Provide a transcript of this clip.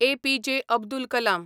APJ. Abdul Kalam